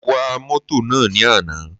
Mo wa mótò náà ní àná.